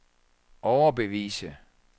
overbevise